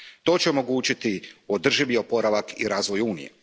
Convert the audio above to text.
To će omogućiti održivi oporavak i razvoj Unije.